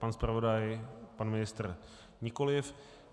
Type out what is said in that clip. Pan zpravodaj, pan ministr - nikoliv.